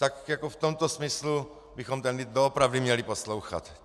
Tak jako v tomto smyslu bychom ten lid doopravdy měli poslouchat.